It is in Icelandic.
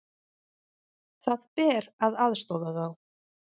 Það ber að aðstoða þá.